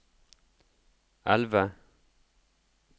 elve